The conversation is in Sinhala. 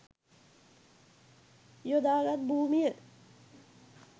යොදා ගත් භූමිය